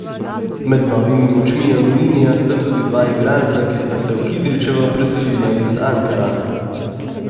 Med novimi močmi Aluminija sta tudi dva igralca, ki sta se v Kidričevo preselila iz Ankarana.